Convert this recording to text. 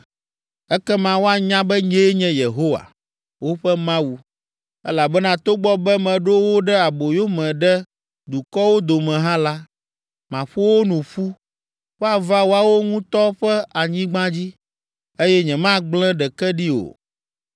Ekema woanya be nyee nye Yehowa, woƒe Mawu, elabena togbɔ be meɖo wo ɖe aboyome ɖe dukɔwo dome hã la, maƒo wo nu ƒu, woava woawo ŋutɔ ƒe anyigba dzi, eye nyemagblẽ ɖeke ɖi o.